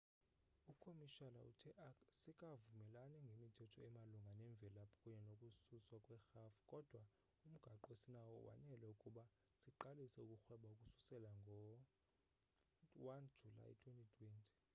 umkomishala uthe asikavumelani ngemithetho emalunga nemvelaphi kunye nokususwa kwerhafu kodwa umgaqo esinawo wanele ukuba siqalise ukurhweba ukususela ngo-1 julayi 2020